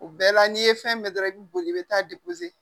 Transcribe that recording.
O bɛɛ la n'i ye fɛn bɛɛ dɔrɔn i bi boli i bi taa